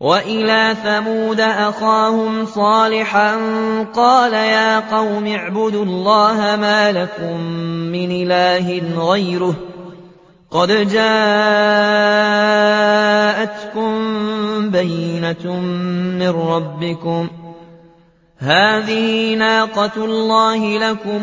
وَإِلَىٰ ثَمُودَ أَخَاهُمْ صَالِحًا ۗ قَالَ يَا قَوْمِ اعْبُدُوا اللَّهَ مَا لَكُم مِّنْ إِلَٰهٍ غَيْرُهُ ۖ قَدْ جَاءَتْكُم بَيِّنَةٌ مِّن رَّبِّكُمْ ۖ هَٰذِهِ نَاقَةُ اللَّهِ لَكُمْ